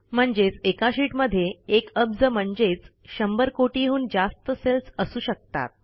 म्हणजेच एका शीटमध्ये एक अब्ज म्हणजेच शंभर कोटीहून जास्त सेल्स असू शकतात